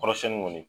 Kɔrɔsiyɛnni kɔni